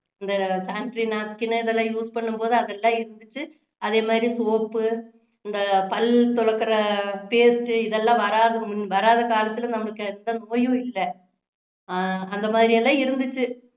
இந்த sanitary napkin இதெல்லாம் use பண்ணும் போது அதெல்லாம் இருந்திச்சு அதே மாதிரி soap இந்த பல் துளக்குற paste இதெல்லாம் வராத~ வராத காலத்துல நம்மளுக்கு எந்த நோயும் இல்லை அஹ் அந்த மாதிரி எல்லாம் இருந்திச்சு